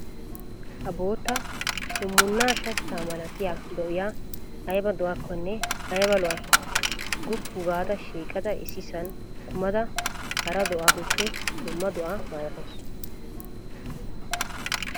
Ha bootta hummunna shachchaa malatiyaa do'iyaa ayiba do'akkonne ayibaa lo'ayi. Guppu gaada shiiqada issisan kumada hara do'aappe dumma do'aa malatawusu.